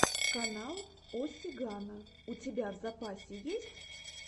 канал о сигано у тебя в запасе есть